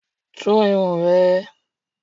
Tú irun ẹ!